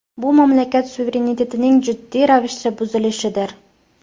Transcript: Bu mamlakat suverenitetining jiddiy ravishda buzilishidir.